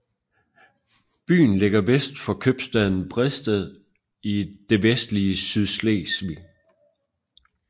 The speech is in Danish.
Byen ligger vest for købstaden Bredsted i det vestlige Sydslesvig